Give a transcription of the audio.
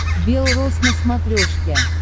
белрос на смотрешке